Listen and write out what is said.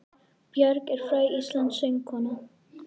Björk er fræg íslensk söngkona.